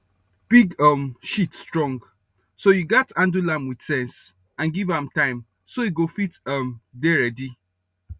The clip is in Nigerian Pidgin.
pig um shit strong so you gats handle am with sense and give am time so e go fit um dey ready